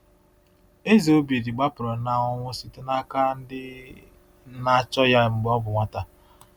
Eze Obidi gbapụrụ na ọnwụ site n’aka ndị na-achọ igbu ya mgbe ọ bụ nwata.